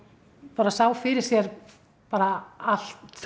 bara sá fyrir sér bara allt